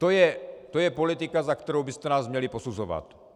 To je politika, za kterou byste nás měli posuzovat.